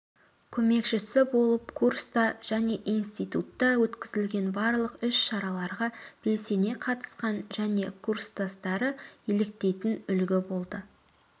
көмекшісі болып курста және институтта өткізілген барлық іс-шараларға белсене қатысқан және курстастары еліктейтін үлгі болды